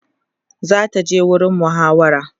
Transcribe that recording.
zata je gurin muhawara